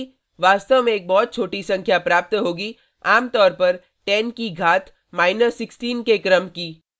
हालांकि वास्तव में एक बहुत छोटी संख्या प्राप्त होगी आम तौर पर 10 की घात 16 के क्रम की